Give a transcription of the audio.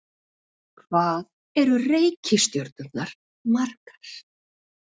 Hvað eru reikistjörnurnar margar?